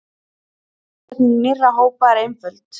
Uppsetning nýrra hópa er einföld.